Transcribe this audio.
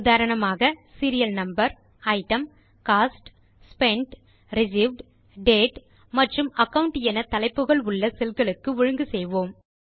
உதாரணமாக serial number item cost spent received date மற்றும் account என தலைப்புகள் உள்ள செல்களுக்கு ஒழுங்கு செய்வோம்